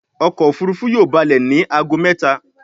ọkọ̀ òfurufú yóò ba'le ní àgọ méta.